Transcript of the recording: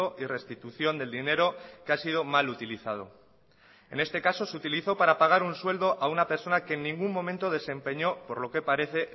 y restitución del dinero que ha sido mal utilizado en este caso se utilizó para pagar un sueldo a una persona que en ningún momento desempeño por lo que parece